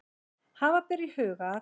Hafa ber í huga að